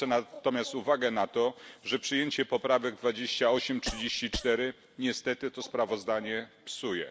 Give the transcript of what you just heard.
Zwrócę natomiast uwagę na to, że przyjęcie poprawek 28 i 34 niestety to sprawozdanie psuje.